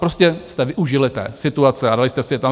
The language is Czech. Prostě jste využili té situace a dali jste si je tam.